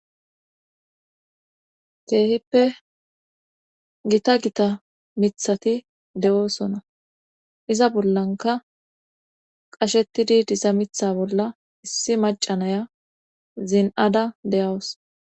keehippe gita gita mithati de7oosona iza bollanka qashetidi dizamitha bolla issi macanaya zin7ada deyawus